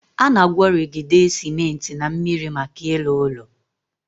Ana agworigide cementi na miri maka ilu ulo